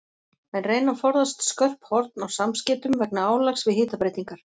Menn reyna að forðast skörp horn á samskeytum vegna álags við hitabreytingar.